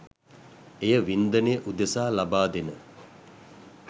එය වින්දනය උදෙසා ලබා දෙන